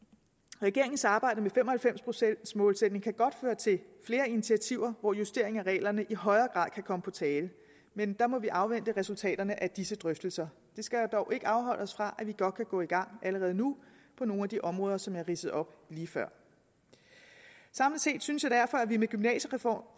regeringens arbejde med fem og halvfems procents målsætningen kan godt føre til flere initiativer hvor justering af reglerne i højere grad kan komme på tale men der må vi afvente resultaterne af disse drøftelser det skal dog ikke afholde os fra at gå i gang allerede nu på nogle af de områder som jeg ridsede op lige før samlet set synes jeg derfor at vi med gymnasiereformen